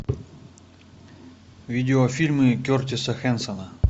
видеофильмы кертиса хэнсона